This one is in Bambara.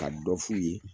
Ka dɔ f'u ye